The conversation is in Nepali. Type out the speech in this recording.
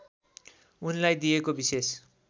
उनलाई दिएको विशेष